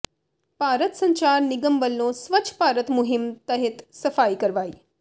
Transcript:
ਭਾਰਤ ਸੰਚਾਰ ਨਿਗਮ ਵੱਲੋਂ ਸਵੱਛ ਭਾਰਤ ਮੁਹਿੰਮ ਤਹਿਤ ਸਫ਼ਾਈ ਕਰਵਾਈ